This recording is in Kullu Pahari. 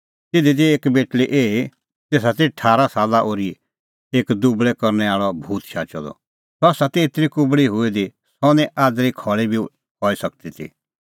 तिधी ती एक बेटल़ी एही तेसा ती ठारा साला ओर्ही एक दुबल़ै करनै आल़अ भूत शाचअ द सह ती एतरी कुबल़ी हुई दी कि सह निं आज़री खल़ी बी हई सकदी ती